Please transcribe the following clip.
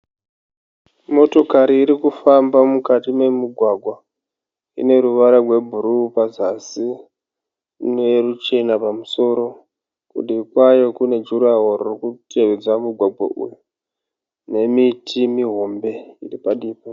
motokari irikufamba mukati memugwagwa ine ruvara rwe brue pazazi, ine ruchena pamusoro, kudivi kwayo kune gurawall rikutedza mugwagwa uyu, nemiti mihombe padivi payo.